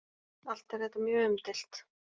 Allt er þetta mjög umdeilt.